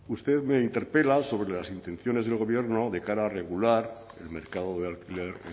usted me interpela sobre las intenciones del gobierno de cara a regular el mercado de alquiler